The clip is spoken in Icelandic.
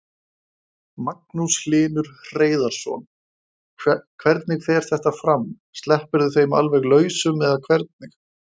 Magnús Hlynur Hreiðarsson: Hvernig fer þetta fram, sleppirðu þeim alveg lausum eða hvernig?